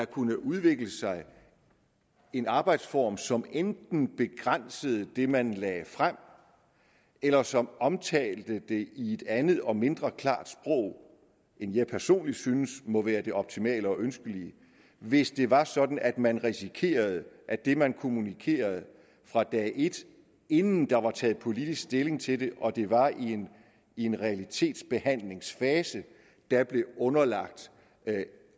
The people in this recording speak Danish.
kunne udvikle sig en arbejdsform som enten begrænsede det man lagde frem eller som omtalte det i et andet og mindre klart sprog end jeg personlig synes må være det optimale og ønskelige hvis det var sådan at man risikerede at det man kommunikerede fra dag et inden der var taget politisk stilling til det og det var i en realitetsbehandlingsfase der blev underlagt